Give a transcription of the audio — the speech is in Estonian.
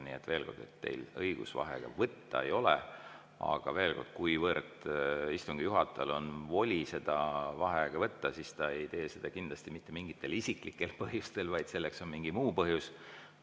Nii et veel kord: teil õigust vaheaega võtta ei ole ja kuigi istungi juhatajal on voli seda vaheaega võtta, siis ta ei tee seda kindlasti mitte mingitel isiklikel põhjustel, vaid selleks on mingi muu põhjus.